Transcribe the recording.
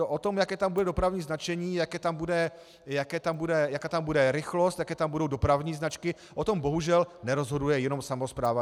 O tom, jaké tam bude dopravní značení, jaká tam bude rychlost, jaké tam budou dopravní značky, o tom bohužel nerozhoduje jenom samospráva.